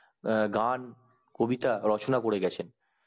গান কবিতা রচনা করে গেছেন